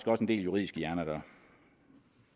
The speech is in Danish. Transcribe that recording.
også en del juridiske hjerner